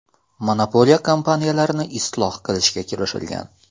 Monopoliya kompaniyalarni isloh qilishga kirishilgan.